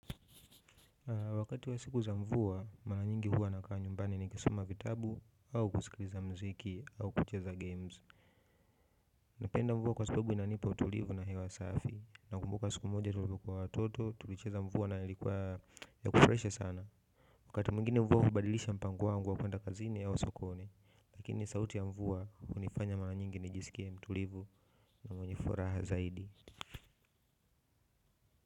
Wakati wa siku za mvua, mara nyingi huwa nakaa nyumbani nikisoma vitabu, au kusikiliza mziki, au kucheza games. Napenda mvua kwa sababu inanipa utulivu na hewa safi, nakumbuka siku moja tulivyokuwa watoto tulicheza mvua na ilikuwa ya kufurahisha sana. Wakati mwingine mvua hubadilisha mpango wangu wa kwenda kazini au sokoni. Lakini sauti ya mvua hunifanya mara nyingi nijiskie mtulivu na mwenye furaha zaidi.